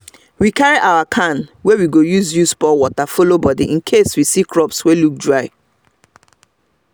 we carry our can wey we go use use pour water follow body incase we see crops wey look dry